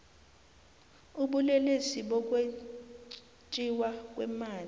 ubulelesi bokwetjiwa kweemali